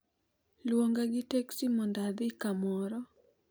Luonga gi teksi mondo adhi kamoro